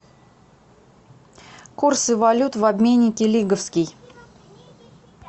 курсы валют в обменнике лиговский